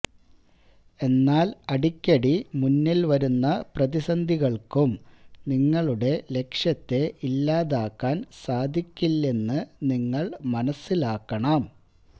എന്നാല് അടിക്കടി മുന്നില് വരുന്ന പ്രതിസന്ധികള്ക്കും നിങ്ങളുടെ ലക്ഷ്യത്തെ ഇല്ലാതാക്കാന് സാധിക്കില്ലെന്ന് നിങ്ങള് മനസിലാക്കണം